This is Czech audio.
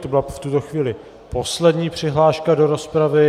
To byla v tuto chvíli poslední přihláška do rozpravy.